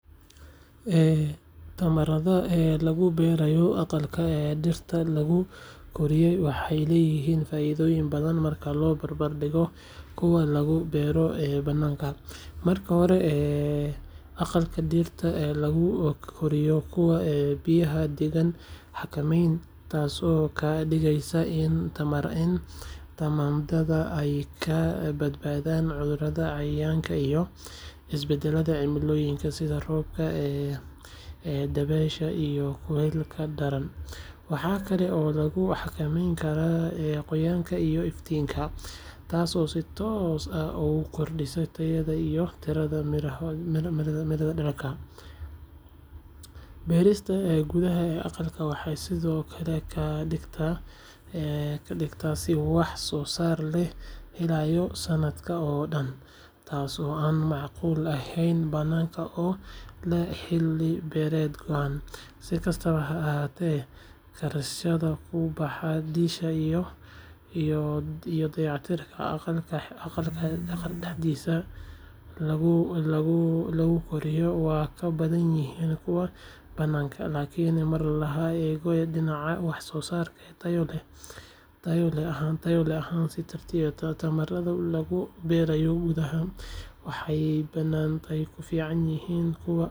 Tamaandhada lagu beeray aqalka dhirta lagu koriyo waxay leeyihiin faa’iidooyin badan marka loo barbar dhigo kuwa lagu beero bannaanka. Marka hore, aqalka dhirta lagu koriyo wuxuu bixiyaa deegaan xakameysan, taasoo ka dhigaysa in tamaandhada ay ka badbaado cudurrada, cayayaanka, iyo isbedbedelka cimilooyinka sida roobka, dabaysha, iyo kulaylka daran. Waxaa kale oo lagu xakameyn karaa qoyaanka iyo iftiinka, taasoo si toos ah u kordhisa tayada iyo tirada miro-dhalka. Beerista gudaha aqalka waxay sidoo kale ka dhigan tahay in wax-soosaarka la helayo sanadka oo dhan, taasoo aan macquul ahayn bannaanka oo leh xilli-beereed go’an. Si kastaba ha ahaatee, kharashaadka ku baxa dhisidda iyo dayactirka aqalka dhirta lagu koriyo waa ka badan yihiin kuwa bannaanka. Laakiin marka laga eego dhinaca wax-soosaarka, tayo ahaan iyo tiraba, tamaandhada lagu beeray gudaha waxay badanaa ka fiican yihiin kuwa bannaanka lagu beero. Taasi waxay ka dhigaysaa in beeralay badan ay door bidaan habkan casriga ah si ay u helaan faa’iido dhaqaale oo joogto ah.